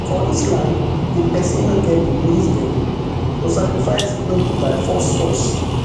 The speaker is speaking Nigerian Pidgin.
for islam if pesin no get di means den to sacrifice no be by force force